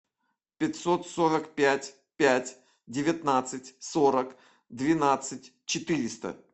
пятьсот сорок пять пять девятнадцать сорок двенадцать четыреста